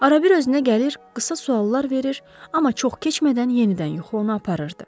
Arabir özünə gəlir, qısa suallar verir, amma çox keçmədən yenidən yuxu onu aparırdı.